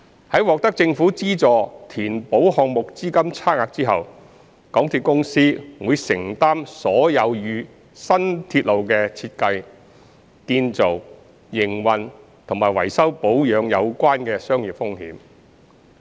在獲得政府資助填補項目資金差額後，港鐵公司會承擔所有與新鐵路的設計、建造、營運和維修保養有關的商業風險。